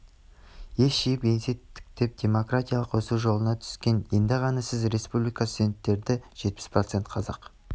ес жиып еңсе тіктеп демографиялық өсу жолына түскен енді ғана сіз республикада студенттердң жетпіс процент қазақ